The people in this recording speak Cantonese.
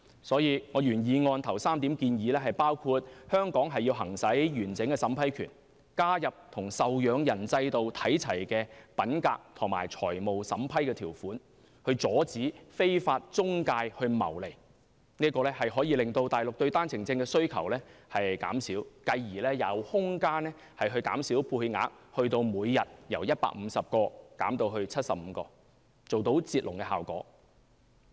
因此，我原議案首3項建議包括香港要行使完整審批權，加入與受養人制度看齊的品格及財務審批條款，以期阻止非法中介謀利，這可令內地對單程證的需求減少，繼而有空間把配額由每天150個減至75個，做到"截龍"的效果。